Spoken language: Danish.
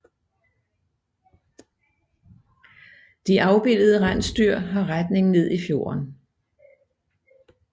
De afbildede rensdyr har retning ned i fjorden